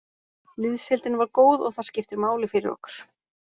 Liðsheildin var góð og það skiptir máli fyrir okkur.